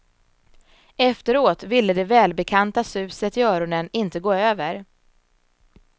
Efteråt ville det välbekanta suset i öronen inte gå över.